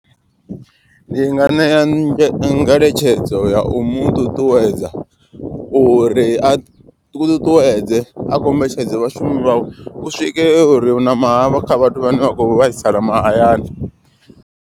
Ndi nga ṋea ngeletshedzo ya u muṱuṱuwedza uri a ṱuṱuwedze a kombetshedze vhashumi vhawe. U swike uri una ma havho kha vhathu vhane vha khou vhaisala mahayani.